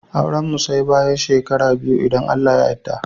Auran mu Sai bayan shekara biyu idan Allah ya yadda.